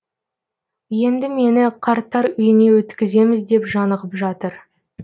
енді мені қарттар үйіне өткіземіз деп жанығып жатыр